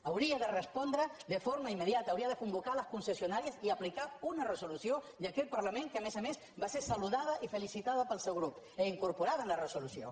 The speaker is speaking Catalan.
hauria de respondre de forma immediata hauria de convocar les concessionàries i aplicar una resolució d’aquest parlament que a més a més va ser saludada i felicitada pel seu grup i incorporada en la resolució